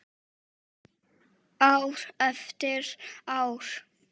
Ár eftir ár.